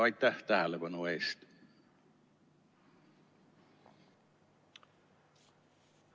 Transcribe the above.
Aitäh tähelepanu eest!